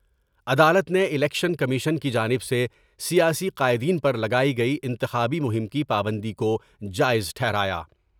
عدالت نے election commission کی جانب سے سیاسی قائدین پر لگائی گئی انتخابی مہم کی پابندی کو جائز ٹھہرایا ۔